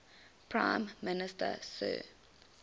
prime minister sir